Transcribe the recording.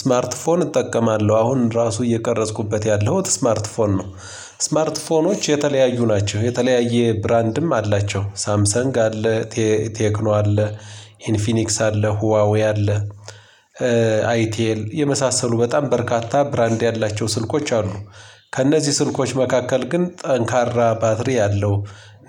ስማርትፎን እጠቀማለሁ አሁን ራሱ እየቀረጽኩበት ያለው ስማርትፎን ነው። ስማርትፎኖች የተለያዩ ናቸው። የተለያየ ብራንድም አላቸው ሳምሰንግ አለ። ቴክኖ አለ። ኢንፊኒክስ አለ ሁዋዊ አለ። አይቴል የመሳሰሉ በጣም በርካታ ብራንድ ያላቸው ስልኮች አሉ። ከእነዚህ ስልኮች መካከል ግን ጠንካራ ባትሪ ያለው።